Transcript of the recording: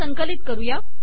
हे संकलित करू